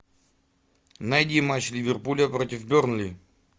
найди матч ливерпуля против бернли